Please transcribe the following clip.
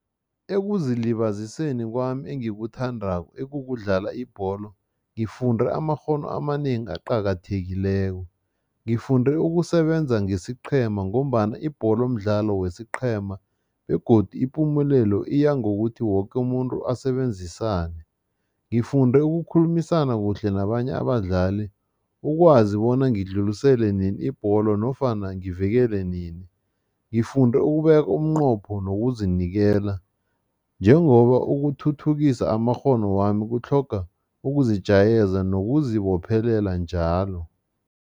Ekuzilibaziseni kwami engikuthandako, ekukudlala ibholo, ngifunde amakghono amanengi aqakathekileko. Ngifunde ukusebenza ngesiqhema ngombana ibholo mdlalo wesiqhema begodu ipumelelo iyangokuthi woke umuntu asebenzisane. Ngifunde ukukhulumisana kuhle nabanye abadlali, ukwazi bona ngidlulisele nini ibholo nofana ngivikele nini. Ngifunde ukubeka umnqopho nokuzinikela njengoba ukuthuthukisa amakghono wami kutlhoga ukuzijayeza nokuzibophelela njalo.